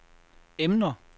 emner